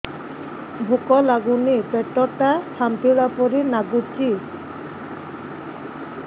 ଭୁକ ଲାଗୁନି ପେଟ ଟା ଫାମ୍ପିଲା ପରି ନାଗୁଚି